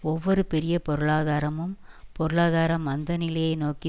ஒவ்வொரு பெரிய பொருளாதாரமும் பொருளாதார மந்தநிலையை நோக்கி